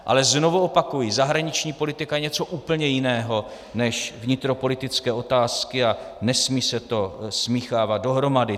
Ale znovu opakuji, zahraniční politika je něco úplně jiného než vnitropolitické otázky a nesmí se to smíchávat dohromady.